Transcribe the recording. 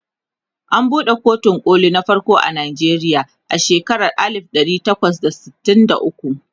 an buɗe kotun koli na farko a Nigeria a shekaran alif ɗari takwas da sittin da ukwu